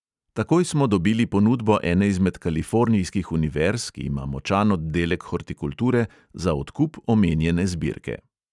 Takoj smo dobili ponudbo ene izmed kalifornijskih univerz, ki ima močan oddelek hortikulture, za odkup omenjene zbirke.